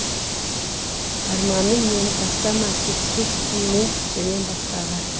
арманым мені тастама кетпеспін мен сенен басқаға